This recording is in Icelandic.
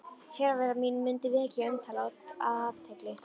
Fjarvera mín mundi vekja umtal og athygli.